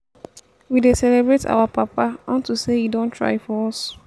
we dey celebrate our papa unto say e don try for us